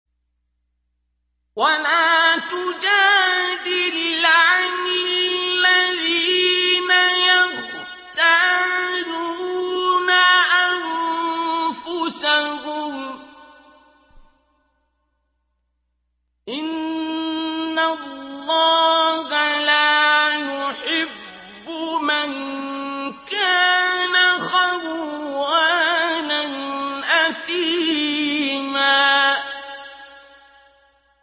وَلَا تُجَادِلْ عَنِ الَّذِينَ يَخْتَانُونَ أَنفُسَهُمْ ۚ إِنَّ اللَّهَ لَا يُحِبُّ مَن كَانَ خَوَّانًا أَثِيمًا